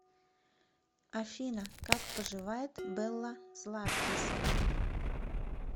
афина как поживает белла златкис